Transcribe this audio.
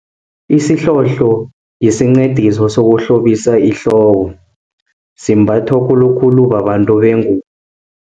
Isihlohlo yisincediso sokuhlobisa ihloko, simbatho khulukhulu babantu bengubo.